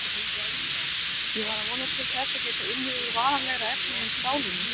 Ég var að vonast til þess að geta unnið úr varanlegra efni en stálinu.